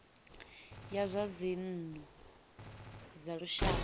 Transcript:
ya zwa dzinnu dza lushaka